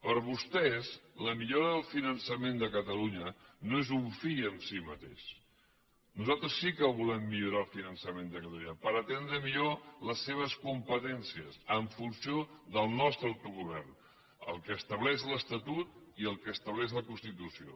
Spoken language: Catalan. per a vostès la millora del finançament de catalunya no és un fi en si mateix nosaltres sí que volem millorar el finançament de catalunya per atendre millor les seves competències en funció del nostre autogovern del que estableix l’estatut i el que estableix la constitució